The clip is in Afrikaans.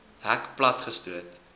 hek plat gestoot